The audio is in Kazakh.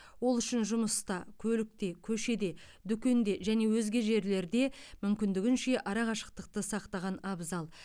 ол үшін жұмыста көлікте көшеде дүкенде және өзге жерлерде мүмкіндігінше арақашықтықты сақтаған абзал